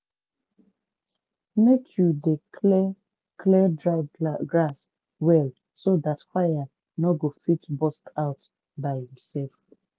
make you dey clear clear dry grass well so dat fire no go fit burst out by imself.